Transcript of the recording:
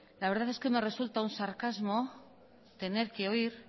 la verdad es que me resulta un sarcasmo tener que oír